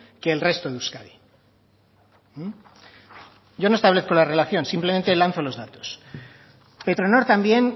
que el resto de euskadi yo no establezco la relación simplemente lanzo los datos petronor también